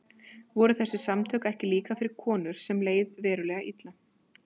Voru þessi samtök ekki líka fyrir konur sem leið verulega illa?